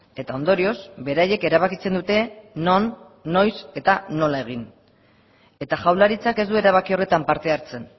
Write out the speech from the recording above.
eta ondorioz beraiek erabakitzen dute non noiz eta nola egin eta jaurlaritzak ez du erabaki horretan parte hartzen